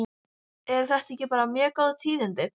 Eru þetta ekki bara mjög góð tíðindi?